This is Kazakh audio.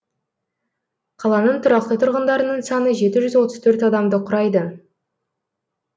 қаланың тұрақты тұрғындарының саны жеті жүз отыз төрт адамды құрайды